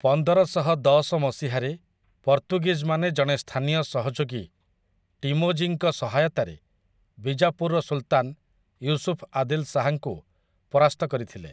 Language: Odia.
ପନ୍ଦରଶହଦଶ ମସିହାରେ ପର୍ତ୍ତୁଗୀଜମାନେ ଜଣେ ସ୍ଥାନୀୟ ସହଯୋଗୀ ଟିମୋଜିଙ୍କ ସହାୟତାରେ ବିଜାପୁରର ସୁଲ୍‌ତାନ୍ ୟୁସୁଫ୍ ଆଦିଲ୍ ଶାହାଙ୍କୁ ପରାସ୍ତ କରିଥିଲେ ।